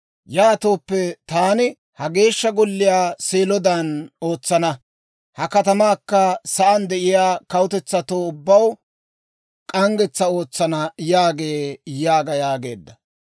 yaatooppe taani ha Geeshsha Golliyaa Seelodan ootsana. Ha katamaakka sa'aan de'iyaa kawutetsatoo ubbaw k'anggetsaa ootsana› yaagee» yaaga yaageedda.